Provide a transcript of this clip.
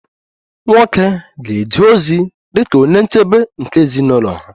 Nwoke ga-eje ozi dị ka onye nchebe nke ezinụlọ ha